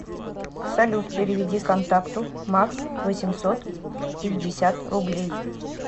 салют переведи контакту макс восемьсот пятьдесят рублей